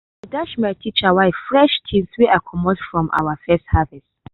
i dash my teacher wife fresh things wey i comot from our first harvest.